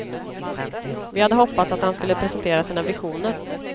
Vi hade hoppats att han skulle presentera sina visioner.